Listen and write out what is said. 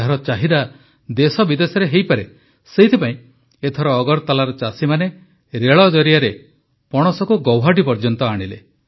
ଏହାର ଚାହିଦା ଦେଶବିଦେଶରେ ହୋଇପାରେ ସେଥିପାଇଁ ଏଥର ଅଗରତଲାର ଚାଷୀମାନେ ରେଳ ଜରିଆରେ ପଣସକୁ ଗୌହାଟି ପର୍ଯ୍ୟନ୍ତ ଆଣିଲେ